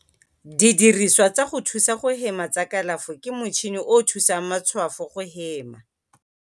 Didirisiwa tsa go thusa go hema tsa kalafo ke motšhini o o thusang matshwafo go hema.